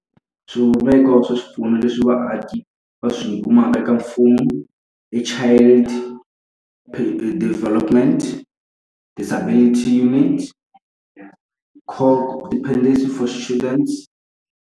Swivumbeko swa swipfuno leswi vaaki va swi kuma eka mfumo i child development disabilitity , dependency for students.